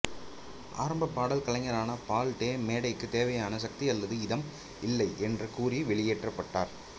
ஆரம்ப பாடல் கலைஞரான பால் டே மேடைக்கு தேவையான சக்தி அல்லது இதம் இல்லை என்று கூறி வெளியேற்றப்பட்டார்